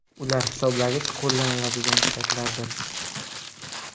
Ular hisoblagich qo‘llaniladigan saytlardir.